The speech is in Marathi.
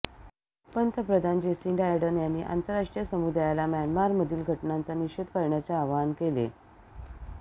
पंतप्रधान जेसिंडा अर्डर्न यांनी आंतरराष्ट्रीय समुदायाला म्यानमारमधली घटनांचा निषेध करण्याचे आवाहन केले